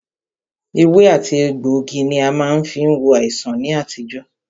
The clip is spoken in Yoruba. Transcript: Ewé àti egbògi ní a má fí ń wo àìsàn ní àtijọ́.